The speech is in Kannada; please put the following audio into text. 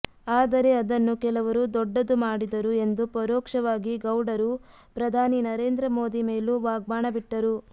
ಆದರೆ ಅದನ್ನು ಕೆಲವರು ದೊಡ್ಡದು ಮಾಡಿದರು ಎಂದು ಪರೋಕ್ಷವಾಗಿ ಗೌಡರು ಪ್ರಧಾನಿ ನರೇಂದ್ರ ಮೋದಿ ಮೇಲೂ ವಾಗ್ಬಾಣ ಬಿಟ್ಟರು